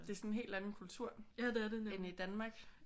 Det er sådan en helt anden kultur end i Danmark